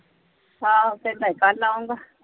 ਆਹੋ ਕਹਿੰਦਾ ਸੀ ਕੱਲ ਆਊਂਗਾ।